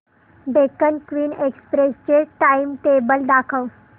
Deccan queen express चे timetable दाखव